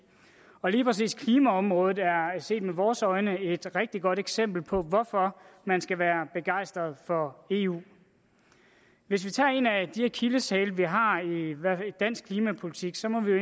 og lige præcis klimaområdet er set med vores øjne et rigtig godt eksempel på hvorfor man skal være begejstret for eu hvis vi tager en af de akilleshæle vi har i dansk klimapolitik så må vi jo